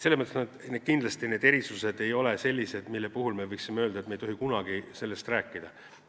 Selles mõttes ei ole erandid kindlasti sellised, nagu ei tohiks kunagi nendest rääkida.